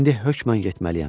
İndi hökmən getməliyəm.